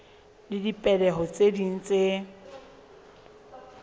le dipehelo tse ding tse